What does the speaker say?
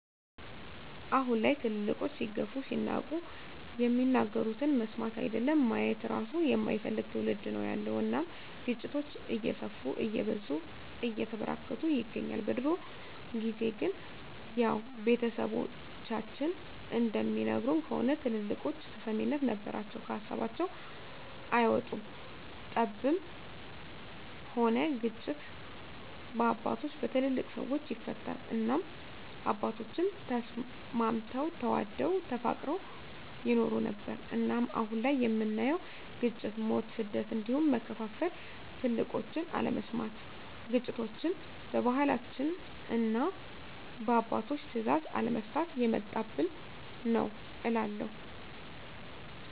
አሁን ላይ ትልልቆች ሲገፉ ሲናቁ የሚናገሩትን መስማት አይደለም ማየት እራሱ የማይፈልግ ትዉልድ ነዉ ያለዉ እናም ግጭቶች እየሰፉ እየበዙ እየተበራከቱ ይገኛል። በድሮ ጊዜ ግን ያዉ ቤተሰቦቻችን እንደሚነግሩን ከሆነ ትልልቆች ተሰሚነት ነበራቸዉ ከሀሳባቸዉ አይወጡም ጠብም ሆነ ግጭት በአባቶች(በትልልቅ ሰወች) ይፈታል እናም አባቶቻችን ተስማምተዉ ተዋደዉ ተፋቅረዉ ይኖሩ ነበር። እናም አሁን ላይ የምናየዉ ግጭ፣ ሞት፣ ስደት እንዲሁም መከፋፋል ትልቆችን አለመስማት ግጭቶችችን በባህላችንና እና በአባቶች ትእዛዝ አለመፍታት የመጣብን ነዉ እላለሁ።